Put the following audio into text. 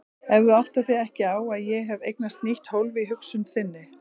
En þú áttar þig ekki á að ég hef eignast nýtt hólf í hugsun þinni.